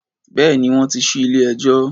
Bẹ́ẹ̀ni, wọ́n ti ṣí ilé-ẹjọ́.